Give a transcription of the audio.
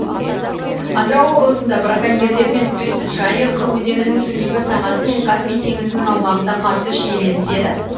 атырау облысында браконьерлермен күрес жайық өзенінің төменгі сағасы мен каспий теңізінің аумағында қатты шиеленіседі